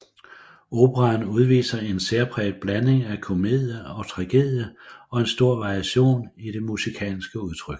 Operaen udviser en særpræget blanding af komedie og tragedie og en stor variation i det musikalske udtryk